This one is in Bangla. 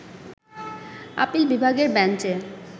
আপিল বিভাগের বেঞ্চে